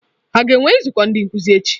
A ga-enwe nzukọ ndị nkuzi echi?